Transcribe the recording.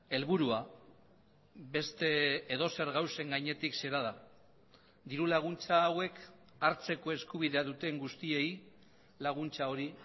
helburua beste edozer gauzen gainetik zera da diru laguntza hauek hartzeko eskubidea duten guztiei laguntza hori